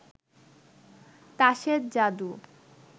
তাসের জাদু